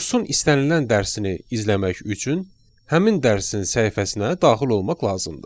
Kursun istənilən dərsini izləmək üçün həmin dərsin səhifəsinə daxil olmaq lazımdır.